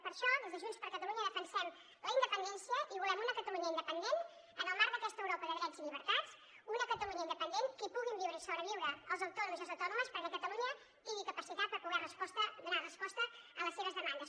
per això des de junts per catalunya defensem la independència i volem una catalunya independent en el marc d’aquesta europa de drets i llibertats una catalunya independent que hi puguin viure i sobreviure els autònoms i les autònomes perquè catalunya tingui capacitat per poder donar resposta a les seves demandes